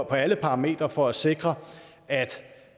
på alle parametre for at sikre at